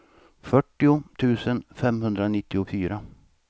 fyrtio tusen femhundranittiofyra